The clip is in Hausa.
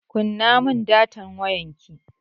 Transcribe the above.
Kunna mun datan wayarki!